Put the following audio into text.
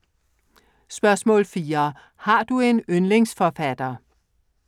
4) Har du en yndlingsforfatter?